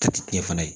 Jate fana ye